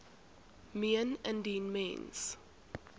meen indien mens